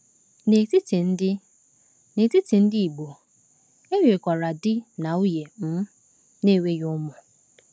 N’etiti ndị N’etiti ndị Igbo, e nwekwara di na nwunye um na-enweghị ụmụ.